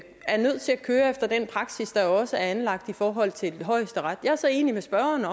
er nødt til at køre efter den praksis der også er anlagt i forhold til højesteret jeg er så enig med spørgeren